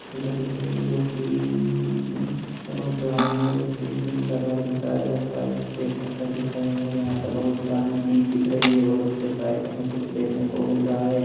शिला दिख रही हैं जो की ए बहोत पुरानी है और उसके नीचे नीला कलर दिख रहा है और साइड से पत्थर दिख रहे हैं और यहां पर बहोत पुरानी चीज दिख रही हैं और उसके साइड में कुछ देखने को मिल रहा है।